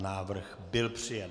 Návrh byl přijat.